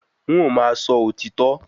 N ó máa sọ òtítọ́